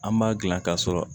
An b'a dilan ka sɔrɔ